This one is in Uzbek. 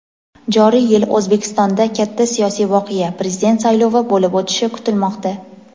joriy yil O‘zbekistonda katta siyosiy voqea — Prezident saylovi bo‘lib o‘tishi kutilmoqda.